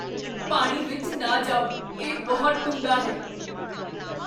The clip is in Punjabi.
ਪਾਣੀ ਵਿੱਚ ਨਾ ਜਾਓ। ਇਹ ਬਹੁਤ ਡੂੰਘਾ ਹੈ!